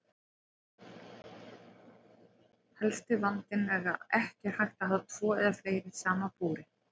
Helsti vandinn er að ekki er hægt að hafa tvo eða fleiri saman í búri.